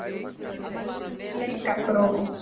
Bleikargróf